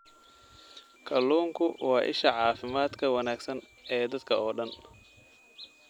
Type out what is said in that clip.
Kalluunku waa isha caafimaadka wanaagsan ee dadka oo dhan.